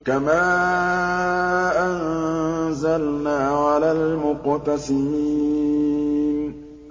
كَمَا أَنزَلْنَا عَلَى الْمُقْتَسِمِينَ